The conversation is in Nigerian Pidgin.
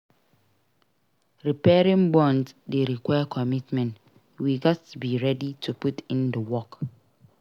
Repairing bonds dey require commitment; we gats be ready to put in the work.